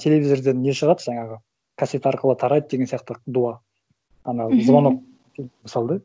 телевизорден не шығады жаңағы кассета арқылы тарайды деген сияқты дуа ана звонок мысалы да